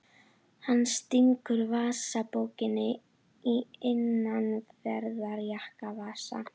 Hann stingur vasabókinni í innanverðan jakkavasa.